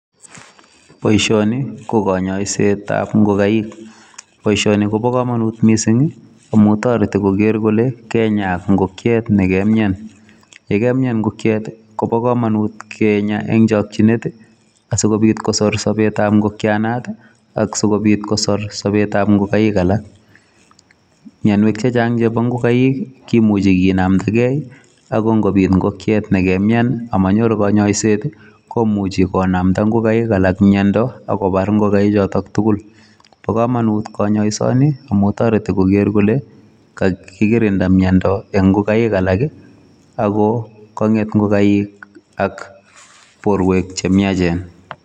Boishoni ko konyoisetab ingogaik, boishoni koboo komonut missing amun toretii koger kole kenyaa ingokiet nekamyaan. Yekamyaan ingokiet koboo komonut kenyaa en chokchinet asikobiit kosor sobetab ingokianotok ak kotakobit kosor sobetab ingokaik alak. Mionwek chechang chebo ingokaik kimuche kinamdagei ako ingobiit ingokiet nekamyaan ak monyoru konyoiset komuchi konamdaa ingokaik alak miondoo ak kobar ingokaik chiton tugul. Bo komonut konyoisoni amun toretii kogeer kole kakikirindaa miondoo en ingokaik alak ako konget ingokaik ak borwek chemiachen.